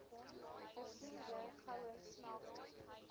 versierde goue smeltpot